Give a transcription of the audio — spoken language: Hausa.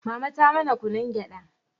mama ta mana kunun gyada